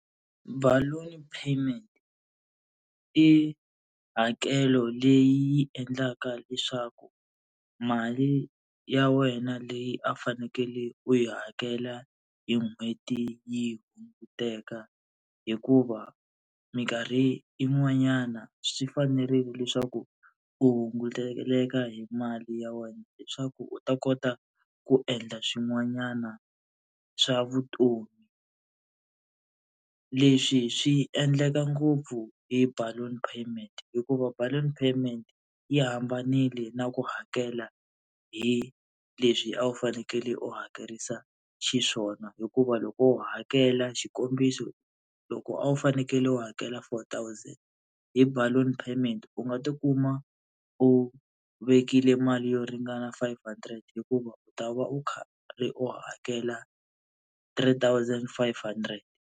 Balloon payment i hakelo leyi yi endlaka leswaku mali ya wena leyi a fanekele u yi hakela hi n'hweti yi hunguteka, hikuva minkarhi yin'wanyana swi fanerile leswaku u hunguteleka hi mali ya wena leswaku u ta kota ku endla swin'wanyana swa vutomi. Leswi swi endleka ngopfu hi balloon payment hikuva balloon payment yi hambanile na ku hakela hi leswi a wu fanekele u hakerisa xiswona. Hikuva loko u hakela xikombiso, loko a wu fanekele u hakela four thousand, hi balloon payment u nga tikuma u vekile mali yo ringana five hundred hikuva u ta va u karhi u hakela three thousand five hundred.